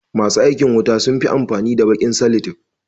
Ma su aikin wuta sun fi amfani da baƙin salatef.